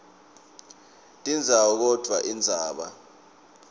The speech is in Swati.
tindzawo kodvwa indzaba